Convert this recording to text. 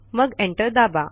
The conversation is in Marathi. मग एंटर दाबा